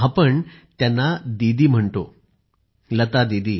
आपण त्यांना दिदी म्हणतो लता दिदी